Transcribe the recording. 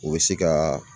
U bɛ se ka